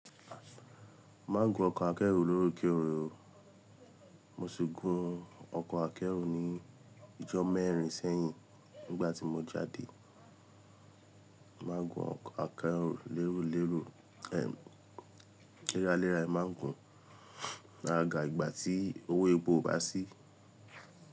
Má gun ọkọ̀ akẹ́rù lóoke ó. Mo ṣi gun ọkọ akẹru ni ijọ mẹrin sẹyin nigba ti mo jade. Má gun ọkọ̀ akẹ́rù léro léro. Ehn léra léra n má n gun. Ra ga ìgbà tí owó epo o bá sí.